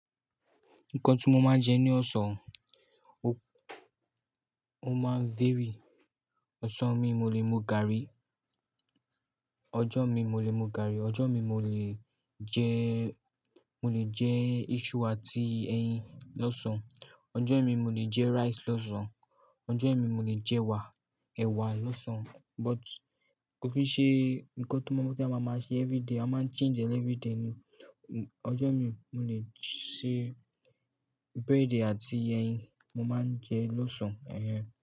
Nǹkan tí mo máa ń jẹ ní ọ̀sán, ó máa ń vary. Ọ̀sán mi mo lè mú gààrí, ọjọ́ mi mo lè mú gààrí, ọjọ́ mi mo lè jẹ, mo lè jẹ isu àti ẹyin lọ́sàn. Ọjọ́ mi mo lè jẹ rice lọ́sàn. Ọjọ́ mi mo lè jẹ wa, ẹwà lọ́sàn. But kò kí nṣe nǹkan tí mo mọ̀ pé a máa máa ṣe everyday, a máa ń change ẹlẹ́ everyday ni. Ọjọ́ mi mo lè ṣe bẹ̀rẹ̀dì àti ẹyin mo máa ń jẹ lọ́sàn. Ẹ̀hẹ̀n.